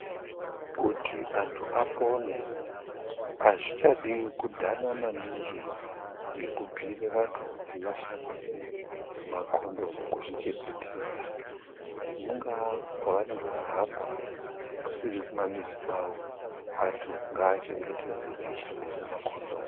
Kuti antu apone, azvichadi kudhana maningi, ngekubhiire vantu kuti vashandise makhondomu kuzvichengetedza .Mungaa kwavanenge vaihamba, kusiri kumamizi kwavo, antu ngaachengetedze veishandise makhondomu.